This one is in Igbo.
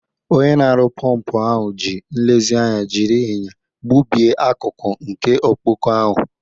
Onye na-arụ pọmpụ ahụ ji nlezianya jiri ịnya gbubie akụkụ nke ọkpọkọ ahụ.